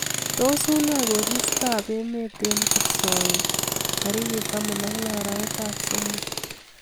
Tos unee koristob emet eng kipsoen tarik taman ak loo arap somok